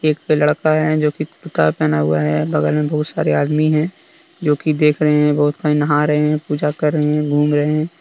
एक पे लड़का है। जो कि कुर्ता पहना हुआ है। बगल में बहुत सारे आदमी है। जो की देख रहे हैं। बहुत सारे नहा रहे हैं। पूजा कर रहे हैं घूम रहे हैं।